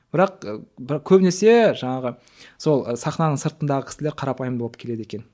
бірақ көбінесе жаңағы сол сахнаның сыртындағы кісілер қарапайым болып келеді екен